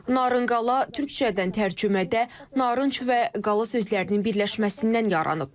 Narınqala türkcədən tərcümədə narınc və qala sözlərinin birləşməsindən yaranıb.